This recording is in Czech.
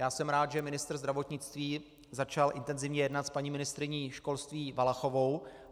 Já jsem rád, že ministr zdravotnictví začal intenzivně jednat s paní ministryní školství Valachovou.